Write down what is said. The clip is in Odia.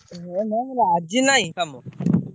ହେ ନା ଆଜି ନାଇଁ କାମ।